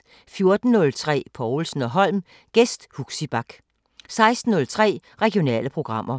14:03: Povlsen & Holm: Gæst Huxi Bach 16:03: Regionale programmer